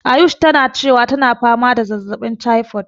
Ayush tana cewa tana fama da zazzaɓin typhoid.